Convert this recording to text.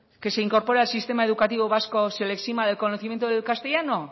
que se incorpore al sistema educativo vasco se le exima del conocimiento del castellano